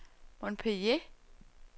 Montpellier